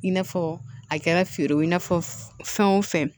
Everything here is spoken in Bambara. I n'a fɔ a kɛra feere ye i n'a fɔ fɛn o fɛn